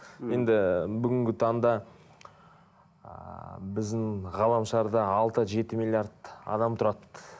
енді бүгінгі таңда ааа біздің ғаламшарда алты жеті миллиард адам тұрады